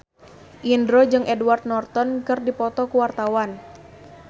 Indro jeung Edward Norton keur dipoto ku wartawan